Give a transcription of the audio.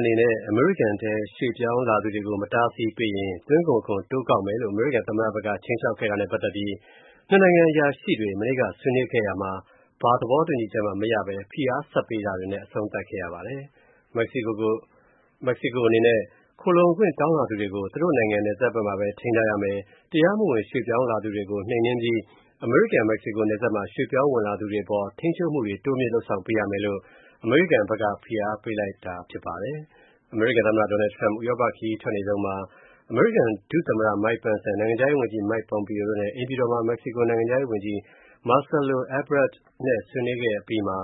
အနေနဲ့ အမေရိကန်ထဲရွှေ့ ပြောင်းလာသူတွေကို မတားဆီးပေးရင် သွင်းကုန်ခွန် တိုးကောက်မယ်လို့ အမေရိကန် သမ္မတက ခြိမ်းခြောက်ခဲ့တာနဲ့ ပတ်သက်ပြီး နှစ်နိုင်ငံအရာရှိတွေ ဆွေးနွေးခဲ့ရာမှာ ဘာသဘောတူချက်မှ မရဘဲ ဖိအားဆက်ပေးတာတွေနဲ့ အဆုံးသတ်ခဲ့ပါတယ်။ မက္ကဆီကို အနေနဲ့ ခိုလှုံခွင့်တောင်းလာသူတွေကို သူ့နိုင်ငံနယ်စပ်ဖက်မှာပဲ ထိန်းထားရမယ်၊ တရားမဝင်ရွှေ့ ပြောင်းလာသူတွေကို နှိမ်နင်းပြီး အမေရိကန်-မက္ကဆီကိုနယ်စပ်မှာ ရွှေ့ပြောင်းဝင်လာသူတွေအပေါ် ထိန်းချုပ်မူတွေ တိုးမြှင့် လုပ်ဆောင်ပေးရမယ်လို့ အမေရိကန်ဖက်က ဖိအားပေးလိုက်ပါတယ်။ အမေရိကန် သမ္မတ Donald Trump ဥရောပ ခရီးစဉ်ထွက်နေတုံးမှာ အမေရိကန် ဒုသမ္မတ Mike Pence နဲ့ နိုင်ငံခြားရေးဝန်ကြီး Mike Pompeo တို့နဲ့ အိမ်ဖြူတော်မှာ မက္ကဆီကို နိုင်ငံခြားရေးဝန်ကြီး Marcelo Ebrard နဲ့ဆွေးနွေးခဲ့ အပြီးမှာ